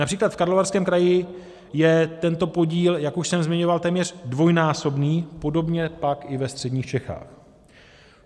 Například v Karlovarském kraji je tento podíl, jak už jsem zmiňoval, téměř dvojnásobný, podobně pak i ve středních Čechách.